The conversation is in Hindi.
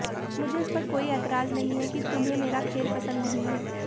मुझे इस पर कोई ऐतराज नहीं है कि तुम्हें मेरा खेल पसंद नहीं है